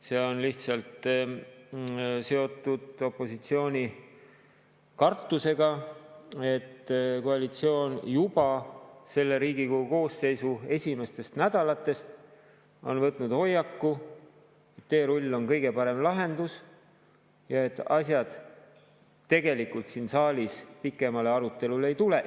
See on lihtsalt seotud opositsiooni kartusega, et koalitsioon on juba selle Riigikogu koosseisu esimestest nädalatest võtnud hoiaku, et teerull on kõige parem lahendus ja et asjad siin saalis tegelikult pikemale arutelule ei tule.